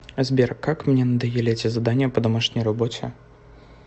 сбер как мне надоели эти задания по домашней работе